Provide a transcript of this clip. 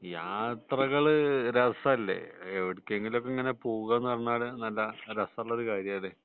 യാത്രകള് രസാല്ലേ എവിടേക്കെങ്കിലും ഇങ്ങനെ പോകാ എന്ന് പറഞ്ഞ നല്ല രസമുള്ള ഒരു കാര്യമാണ്